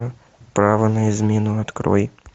право на измену открой